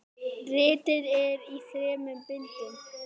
Ritið er í þremur bindum.